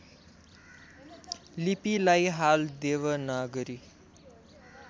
लिपिलाई हाल देवनागरी